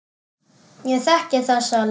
Ég þekki þessa leið.